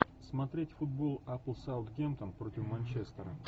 смотреть футбол апл саутгемптон против манчестера